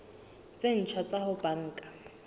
tse ntjha tsa ho banka